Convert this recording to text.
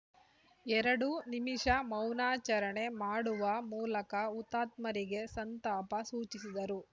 ಎರಡು ನಿಮಿಷ ಮೌನಾಚರಣೆ ಮಾಡುವ ಮೂಲಕ ಹುತಾತ್ಮರಿಗೆ ಸಂತಾಪ ಸೂಚಿಸಿದರು